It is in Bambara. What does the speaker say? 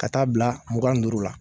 Ka t'a bila mugan ni duuru la.